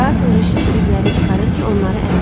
Daha sonra şişlikləri çıxarır ki, onları əmim.